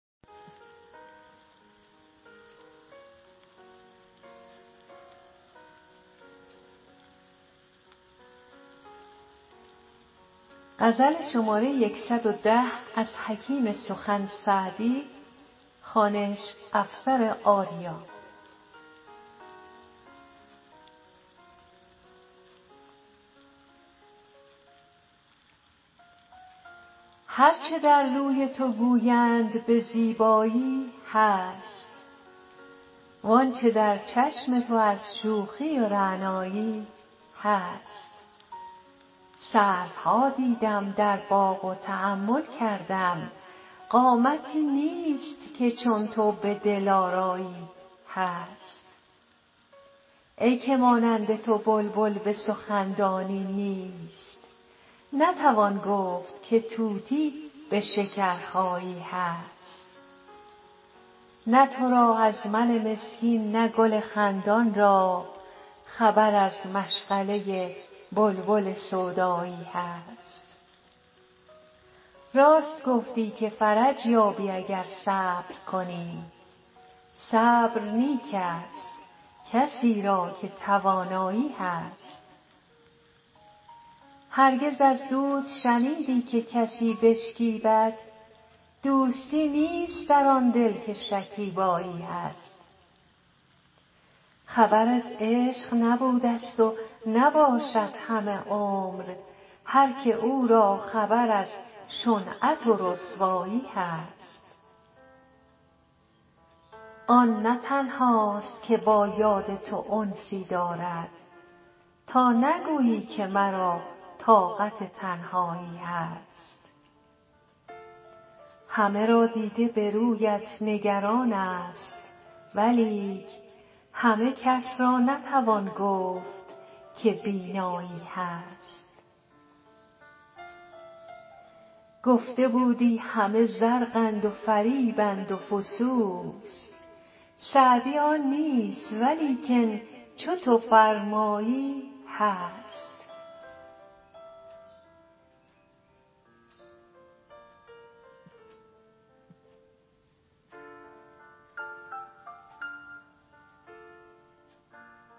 هر چه در روی تو گویند به زیبایی هست وان چه در چشم تو از شوخی و رعنایی هست سروها دیدم در باغ و تأمل کردم قامتی نیست که چون تو به دلآرایی هست ای که مانند تو بلبل به سخن دانی نیست نتوان گفت که طوطی به شکرخایی هست نه تو را از من مسکین نه گل خندان را خبر از مشغله بلبل سودایی هست راست گفتی که فرج یابی اگر صبر کنی صبر نیک ست کسی را که توانایی هست هرگز از دوست شنیدی که کسی بشکیبد دوستی نیست در آن دل که شکیبایی هست خبر از عشق نبودست و نباشد همه عمر هر که او را خبر از شنعت و رسوایی هست آن نه تنهاست که با یاد تو انسی دارد تا نگویی که مرا طاقت تنهایی هست همه را دیده به رویت نگران ست ولیک همه کس را نتوان گفت که بینایی هست گفته بودی همه زرقند و فریبند و فسوس سعدی آن نیست ولیکن چو تو فرمایی هست